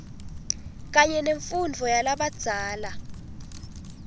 kanye nemfundvo yalabadzala